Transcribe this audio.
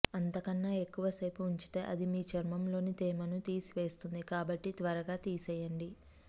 అంతకన్నా ఎక్కువసేపు ఉంచితే అది మీ చర్మంలోని తేమను తీసివేస్తుంది కాబట్టి త్వరగా తీసెయ్యండి